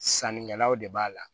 Sannikɛlaw de b'a la